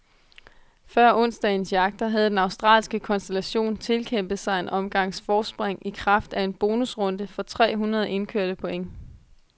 Før onsdagens jagter havde den australske konstellation tilkæmpet sig en omgangs forspring i kraft af en bonusrunde for tre hundrede indkørte point.